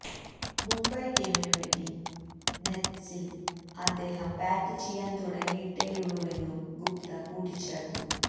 മുംബൈ ടീമിനു വേണ്ടി നെറ്റ്സില് അദ്ദേഹം ബാറ്റ് ചെയ്യാന് തുടങ്ങിയിട്ടേയുള്ളൂവെന്നും ഗുപ്ത കൂട്ടിച്ചേര്ത്തു